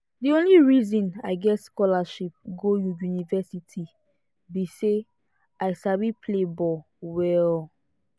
the only reason i get scholarship go university be say i sabi play ball well